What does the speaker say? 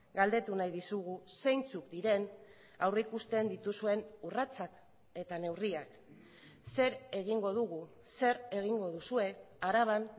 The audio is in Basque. galdetu nahi dizugu zeintzuk diren aurrikusten dituzuen urratsak eta neurriak zer egingo dugu zer egingo duzue araban